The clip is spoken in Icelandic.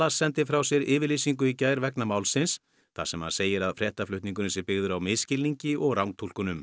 sendi frá sér yfirlýsingu í gær vegna málsins þar sem hann segir að fréttaflutningurinn sé byggður á misskilningi og rangtúlkunum